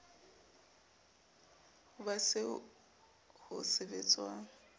ho ba eo ho sebetswang